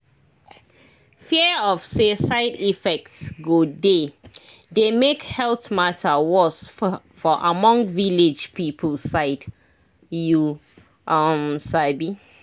fear of say side effect go dey dey make health matter worse for among village people side you um sabi